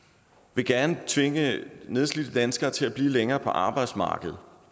vil gerne tvinge nedslidte danskere til at blive længere på arbejdsmarkedet